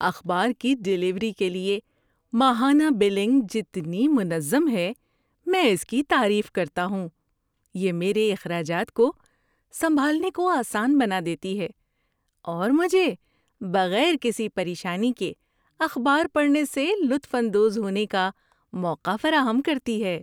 اخبار کی ڈیلیوری کے لیے ماہانہ بلنگ جتنی منظم ہے میں اس کی تعریف کرتا ہوں۔ یہ میرے اخراجات کو سنبھالنے کو آسان بنا دیتی ہے اور مجھے بغیر کسی پریشانی کے اخبار پڑھنے سے لطف اندوز ہونے کا موقع فراہم کرتی ہے۔